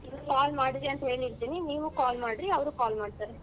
Call ಮಾಡ್ತಿರಿ ಅಂತ್ ಹೇಳಿರ್ತೀನಿ ನೀವ್ call ಮಾಡ್ರಿ ಅವ್ರು call ಮಾಡ್ತಾರೆ.